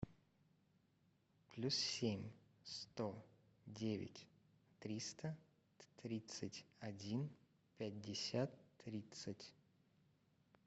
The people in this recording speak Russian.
плюс семь сто девять триста тридцать один пятьдесят тридцать